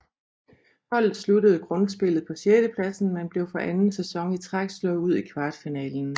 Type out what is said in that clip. Holdet sluttede grundspillet på sjettepladsen men blev for anden sæson i træk slået ud i kvartfinalen